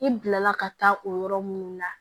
I bila la ka taa o yɔrɔ minnu na